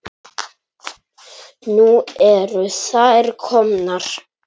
Nú eru þær komnar.